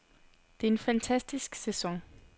Det er en fantastisk sæson.